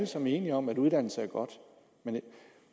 sammen enige om at uddannelse er godt